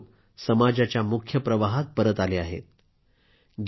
हे सर्व लोक समाजाच्या मुख्य धारेमध्ये परत आले आहेत